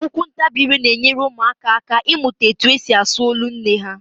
Okwuntabiire na-enyekwara ụmụaka aka ịmụta etu e si asụ olu nne ha